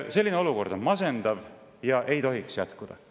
Selline olukord on masendav ja ei tohiks jätkuda.